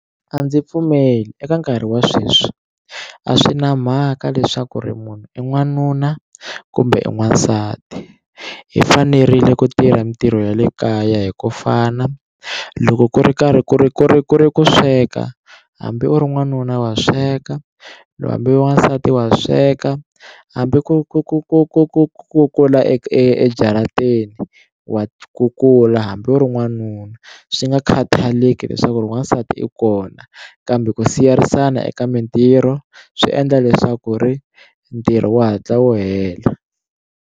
A ndzi pfumeli eka nkarhi wa sweswi a swi na mhaka leswaku ri munhu i n'wanuna kumbe n'wansati i fanerile ku tirha mitirho ya le kaya hi ku fana loko ku ri karhi ku ri ku ri ku ri ku sweka hambi u ri n'wanuna wa sweka hambi wasati wa sweka hambi ku ku ku ku ku ku kukula e ejarateni wa kukula hambi u ri n'wanuna swi nga khathaleki leswaku ri wasati i kona kambe ku siyerisana eka mitirho swi endla leswaku ri ntirho wu hatla wu hela.